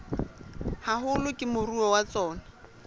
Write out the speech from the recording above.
haholo ke moruo wa tsona